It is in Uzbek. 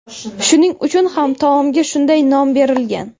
Shuning uchun ham taomga shunday nom berilgan.